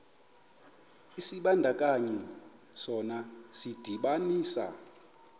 isibandakanyi sona sidibanisa